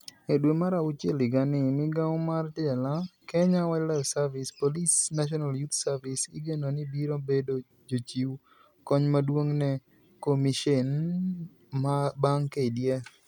E dwe mar auchiel higani, migawo mar jela, Kenya Wildlife Service, polise, National Youth Service igeno ni biro bedo jochiw kony maduong' ne komisheni bang' KDF.